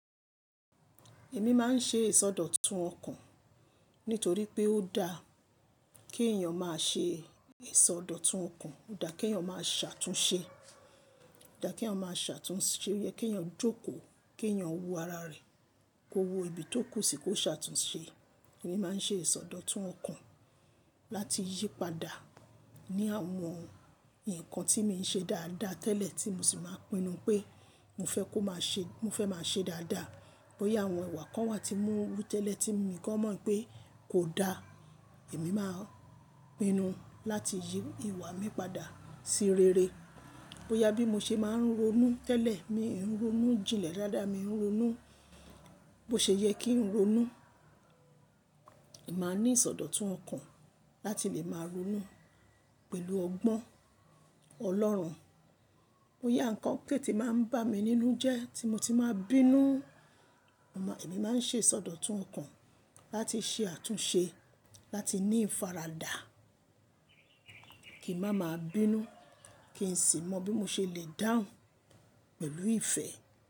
Èmi máa ń ṣe ìsọdọ̀tun ọkàn nítorí pé ó da kí èèyàn máa ṣe ìsọdọ̀tun ọkàn, ó da kí èèyàn máa ṣàtúnṣe, ó da kí èèyàn máa ṣàtúnṣe, ó yẹ kí èèyàn jókòó, kí èèyàn wo ara rẹ̀, kó wo ibi tó kù sí kó ṣàtúnṣe. Èmi máa ń ṣe ìsọdọ̀tun ọkàn láti yí padà ní àwọn, nǹkan tí mo ń ṣe dáadáa tẹ́lẹ̀ tí mo sì máa pinnu pé mo fẹ́ kó máa ṣe, mo fẹ́ máa ṣe dáadáa. Bóyá àwọn ìwà kan wà tí ń wù tẹ́lẹ̀ tí èmi kò mọ̀ pé kò da, èmi máa pinnu láti yí ìwà mi padà sí rere. Bóyá bí mo ṣe máa ń ronú tẹ́lẹ̀, mi ò ń ronú jinlẹ̀ dáadáa, mi ò ń ronú, bó ṣe yẹ kí ń ronú, èmi máa ní ìsọdọ̀tun ọkàn láti lè máa ronú pẹ̀lú ọgbọ́n Ọlọ́run. Bóyá nǹkan k'o tí máa ń bà mí nínú jẹ́ tí mo tí máa bínú, èmi máa ń ṣe ìsọdọ̀tun ọkàn láti ṣe àtúnṣe láti ní ìfaradà kí màmáa bínú, kí n sì mọ bí mo ṣe lè dáhùn pẹ̀lú ìfẹ́.